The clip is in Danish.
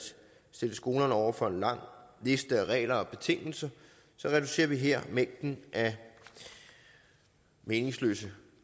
stille skolerne over for en lang liste af regler og betingelser reducerer vi her mængden af meningsløse